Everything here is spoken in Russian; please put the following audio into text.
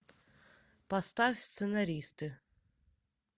поставь сценаристы